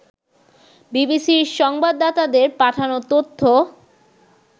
বিবিসির সংবাদদাতাদের পাঠানো তথ্য